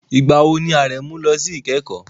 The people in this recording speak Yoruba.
Ìgbà wo ni Aremeu lọ sí ìkẹ́kọ̀ọ́?